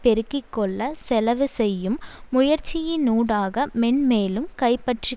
பெருக்கி கொள்ள செலவு செய்யும் முயற்சியினூடாக மென்மேலும் கைப்பற்றி